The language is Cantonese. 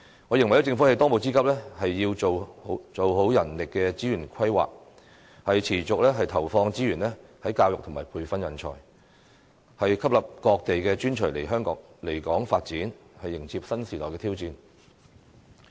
我認為政府當務之急是要做好人力資源規劃，持續投放資源在教育和培訓人才，吸引各地的專才來港發展，迎接新時代的挑戰。